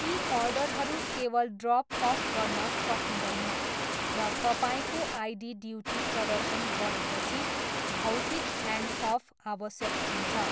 यी अर्डरहरू केवल ड्रप अफ गर्न सकिँदैन र तपाईँको आईडी ड्युटी प्रदर्शन गरेपछि भौतिक ह्यान्डअफ आवश्यक हुन्छ।